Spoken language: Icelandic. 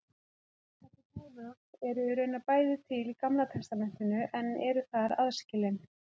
Þessi boðorð eru raunar bæði til í Gamla testamentinu en eru þar aðskilin.